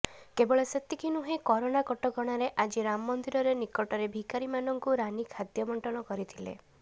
କେବଳ ସେତିକି ନୁହେଁ କରୋନା କଟକଣାରେ ଆଜି ରାମ ମନ୍ଦିରରେ ନିକଟରେ ଭିକାରୀମାନଙ୍କୁ ରାନୀ ଖାଦ୍ୟ ବଣ୍ଟନ କରିଥିଲେ